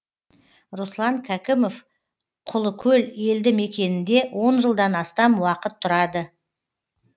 руслан кәкімов құлыкөл елді мекенінде он жылдан астам уақыт тұрады